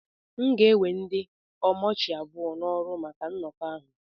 M ga-ewe ndị omochi abụọ n'ọrụ maka nnọkọ ahụ